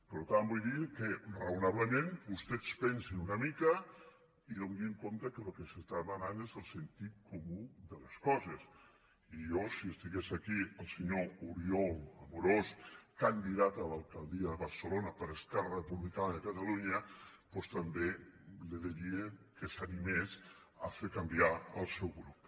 per tant vull dir que raonablement vostès pensin una mica i adonin se que el que s’està demanant és el sentit comú de les coses i jo si estigués aquí el senyor oriol amorós candidat a l’alcaldia de barcelona per esquerra republicana de catalunya doncs també li diria que s’animés a fer canviar el seu grup